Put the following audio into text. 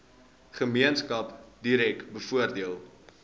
gemeenskap direk bevoordeel